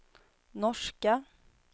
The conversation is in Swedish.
norska